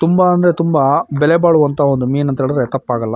ತುಂಬಾ ಅಂದ್ರೆ ತುಂಬಾ ಬೆಲೆ ಬಾಳುವಂಥ ಒಂದು ಮೀನು ಅಂತ ಹೇಳಿದ್ರೆ ತಪ್ಪಾಗಲ್ಲ.